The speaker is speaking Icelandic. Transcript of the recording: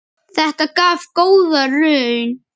Þetta gaf góða raun.